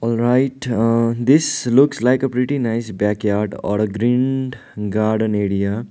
alright uh this looks like a pretty nice backyard or a green garden area.